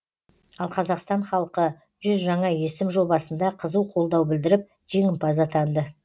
ал қазақстан халқы жүз жаңа есім жобасында қызу қолдау білдіріп жеңімпаз атанды